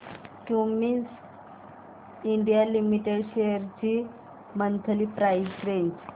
Cummins India limited shares ची monthly price range